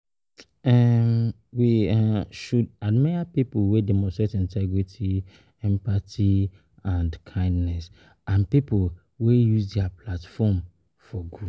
um We um should admire people wey demonstrate integrity, empathy and kindness and people wey use dia platform for um good.